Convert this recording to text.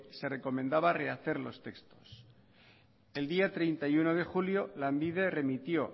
se recomendaba rehacer los textos el día treinta y uno de julio lanbide remitió